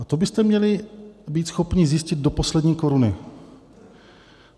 A to byste měli být schopni zjistit do poslední koruny.